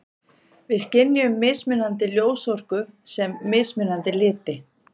Við skynjum mismunandi ljósorku sem mismunandi liti.